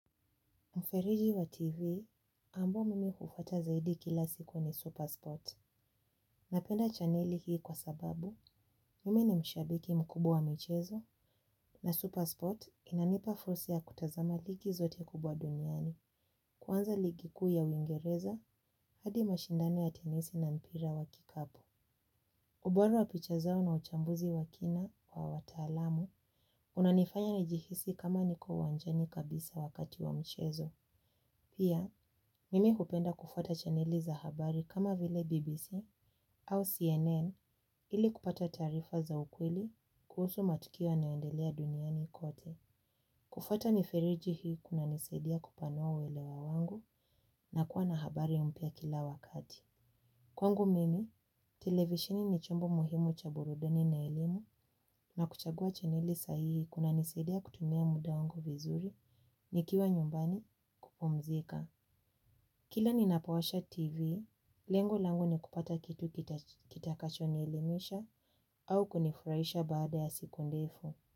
Mfereji wa TV, ambao mimi hufuata zaidi kila siku ni Superspot. Napenda chaneli hii kwa sababu, mimi ni mshabiki mkubwa wa michezo, na Superspot inanipa fursia ya kutazama ligi zote kubwa duniani, kwanza ligi kuu ya uingereza hadi mashindani ya tenisi na mpira wa kikapu. Ubora wa picha zao na uchambuzi wa kina wa wataalamu, unanifanya nijihisi kama niko uwanjani kabisa wakati wa michezo. Pia, mimi hupenda kufuata chaneli za habari kama vile BBC au CNN ili kupata taarifa za ukweli kuhusu matukio yanayoendelea duniani kote. Kufata mifereji hii kunanisaidia kupanua uwelewa wangu na kuwa na habari mpya kila wakati. Kwangu mimi, televisheni ni chombo muhimu cha burudani na elimu na kuchagua chaneli sahihi kunanisadia kutumia muda wangu vizuri nikiwa nyumbani kupumzika. Kila ninapowasha TV, lengo langu ni kupata kitu kitakachonielimisha au kunifurahisha baada ya siku ndefu.